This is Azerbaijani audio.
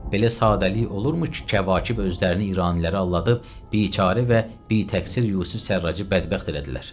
Belə sadəlik olurmu ki, Kəvakib özlərini İranilərə aldadıb biçarə və bitəqsir Yusif Sərracı bədbəxt elədilər?